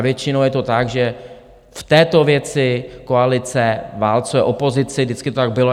A většinou je to tak, že v této věci koalice válcuje opozici, vždycky to tak bylo.